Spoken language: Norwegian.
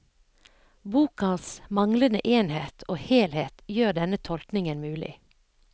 Bokas manglende enhet og helhet gjør denne tolkningen mulig.